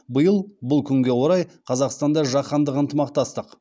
биыл бұл күнге орай қазақстанда жаһандық ынтымақтастық